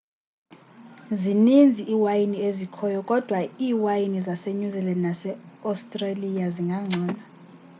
zininzi iiwayini ezikhoyo kodwa iiwayini zase-new zealand nase-australia zingangcono